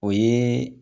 O ye